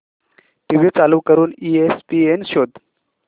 TV चालू करून ESPN शोध